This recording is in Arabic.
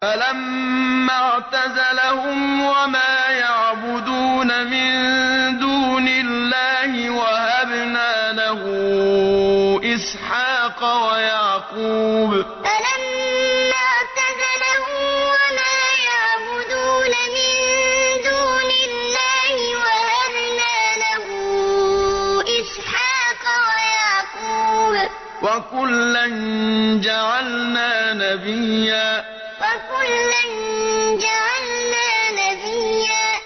فَلَمَّا اعْتَزَلَهُمْ وَمَا يَعْبُدُونَ مِن دُونِ اللَّهِ وَهَبْنَا لَهُ إِسْحَاقَ وَيَعْقُوبَ ۖ وَكُلًّا جَعَلْنَا نَبِيًّا فَلَمَّا اعْتَزَلَهُمْ وَمَا يَعْبُدُونَ مِن دُونِ اللَّهِ وَهَبْنَا لَهُ إِسْحَاقَ وَيَعْقُوبَ ۖ وَكُلًّا جَعَلْنَا نَبِيًّا